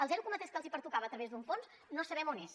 el zero coma tres que els pertocava a través d’un fons no sabem on és